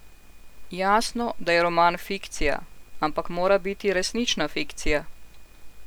Jasno, da je roman fikcija, ampak mora biti resnična fikcija.